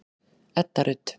Edda Rut.